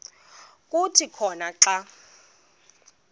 kuthi khona xa